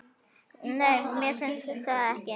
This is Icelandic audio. Nei, mér finnst það ekki.